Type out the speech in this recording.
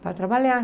Para trabalhar.